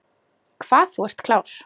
Hvað þú ert klár.